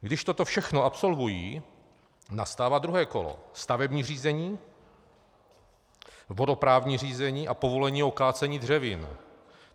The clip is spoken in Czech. Když toto všechno absolvují, nastává druhé kolo: stavební řízení, vodoprávní řízení a povolení ke kácení dřevin.